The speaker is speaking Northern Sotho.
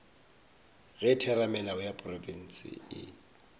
ge theramelao ya profense e